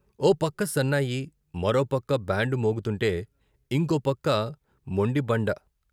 ఓ పక్క సన్నాయి, మరో పక్క బ్యాండ్ మోగుతుంటే ఇంకోపక్క మొండిబండ.